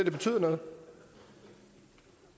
noget